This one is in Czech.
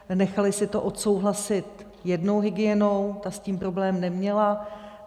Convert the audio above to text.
Nechali si to odsouhlasit jednou hygienou, ta s tím problém neměla.